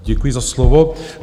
Děkuji za slovo.